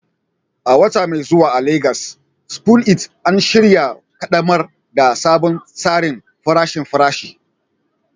A wata mai zuwa a Legas, Spoon It An shirya ƙaddamar da sabon tsarin farashin farashi